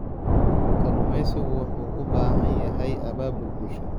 Kalluumeysigu wuxuu u baahan yahay abaabul bulsho.